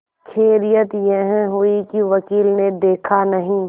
खैरियत यह हुई कि वकील ने देखा नहीं